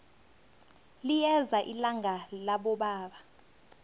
liyeza ilanga labobaba